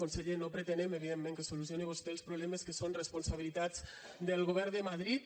conseller no pretenem evidentment que solucioni vostè els problemes que són responsabilitat del govern de madrid